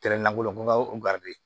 Tɛrɛ na la n ko